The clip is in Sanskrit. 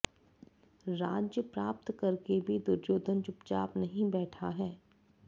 राज्य प्राप्त करके भी दुर्योधन चुपचाप नहीं बैठा है